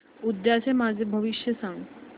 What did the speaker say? उद्याचं माझं भविष्य सांग